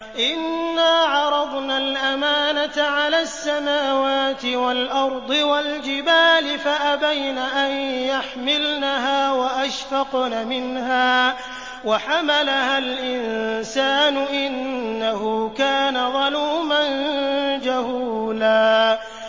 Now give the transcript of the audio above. إِنَّا عَرَضْنَا الْأَمَانَةَ عَلَى السَّمَاوَاتِ وَالْأَرْضِ وَالْجِبَالِ فَأَبَيْنَ أَن يَحْمِلْنَهَا وَأَشْفَقْنَ مِنْهَا وَحَمَلَهَا الْإِنسَانُ ۖ إِنَّهُ كَانَ ظَلُومًا جَهُولًا